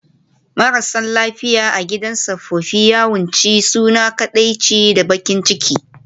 Marasa lafiya a gidan tsofaffi yawanci suna kaɗaici da baƙin ciki